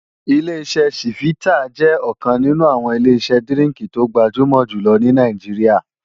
Ileṣẹ́ ṣífítà jẹ́ ọ̀kan nínú àwọn Ileṣẹ́ dírínkì tó gbajúmò jùlọ ní Nàìjíríà